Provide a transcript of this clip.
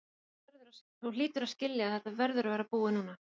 Þú hlýtur að skilja að þetta verður að vera búið núna.